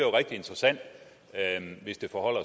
rigtig interessant hvis det forholder